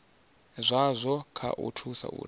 zwazwo kha u thusa uri